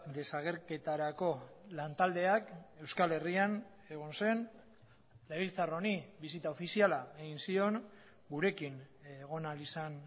desagerketarako lantaldeak euskal herrian egon zen legebiltzar honi bisita ofiziala egin zion gurekin egon ahal izan